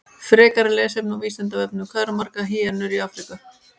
Frekara lesefni á Vísindavefnum: Hvað eru margar hýenur í Afríku?